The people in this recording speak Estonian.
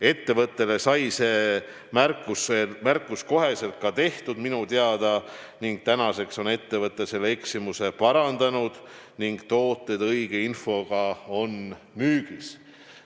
Ettevõttele sai see märkus minu teada kohe tehtud ning tänaseks on ettevõte selle eksimuse parandanud ja tooted on õige infoga müügis.